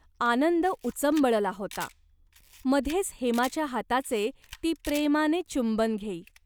आनंद उचंबळला होता. मध्येच हेमाच्या हाताचे ती प्रेमाने चुंबन घेई.